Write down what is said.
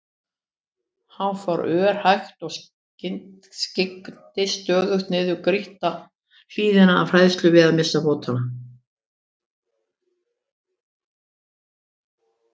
Hann fór örhægt og skyggndist stöðugt niður grýtta hlíðina af hræðslu við að missa fótanna.